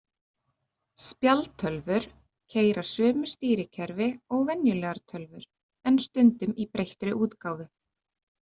Spjaldtölvur keyra sömu stýrikerfi og venjulegar tölvur en stundum í breyttri útgáfu.